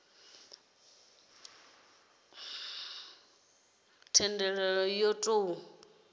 dzuliwa hone thendelo yo tou